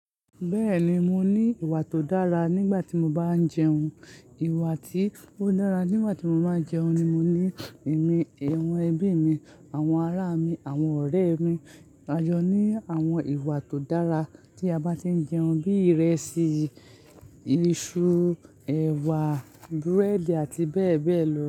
Bẹ́ẹ̀ni, mo ní ìwà tó dára nígbà tí mo bá ń jẹun. Ìwà tí ó dára nígbà tí mo bá ń jẹun ni mo ní ẹ̀mí, àwọn ẹbí mi, àwọn ará mi, àwọn ọ̀rẹ́ mi. A jọ ní àwọn ìwà tó dára tí a bá ti ń jẹun bí ìrẹsì, iṣu, ẹ̀wà, búrẹ́dì àti bẹ́ẹ̀ bẹ́ẹ̀ lọ.